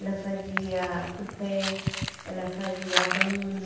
Ela fazia tupé, ela fazia abano,